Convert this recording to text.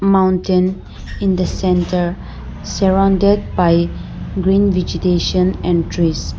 maintain in the centre surrounded by green vegetation and trees.